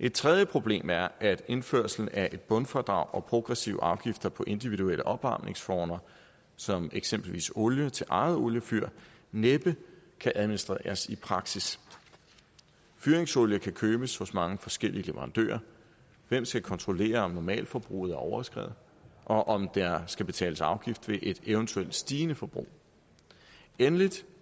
et tredje problem er at indførelsen af et bundfradrag og progressive afgifter på individuelle opvarmningsformer som eksempelvis olie til eget oliefyr næppe kan administreres i praksis fyringsolie kan købes hos mange forskellige leverandører hvem skal kontrollere om normalforbruget er overskredet og om der skal betales afgift ved et eventuelt stigende forbrug endelig